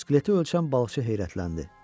Skeleti ölçən balıqçı heyrətləndi.